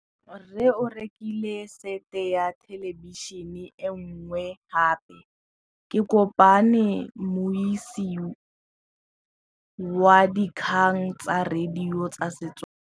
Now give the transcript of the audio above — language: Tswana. Rre o rekile sete ya thêlêbišênê e nngwe gape. Ke kopane mmuisi w dikgang tsa radio tsa Setswana.